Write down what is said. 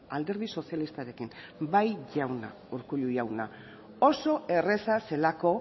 alderdi sozialistarekin bai jauna urkullu jauna oso erraza zelako